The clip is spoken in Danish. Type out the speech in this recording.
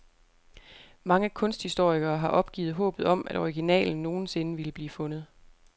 Mange kunsthistorikere har opgivet håbet om, at originalen nogen sinde ville blive fundet.